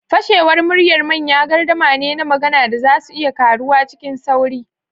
Fashewar murya manyan gardama ne na magana da za su iya karuwa cikin sauri.